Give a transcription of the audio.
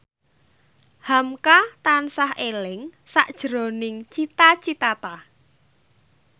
hamka tansah eling sakjroning Cita Citata